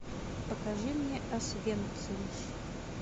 покажи мне освенцим